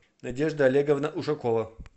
надежда олеговна ушакова